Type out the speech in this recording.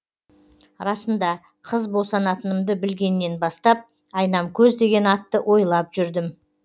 расында қыз босанатынымды білгеннен бастап айнамкөз деген атты ойлап жүрдім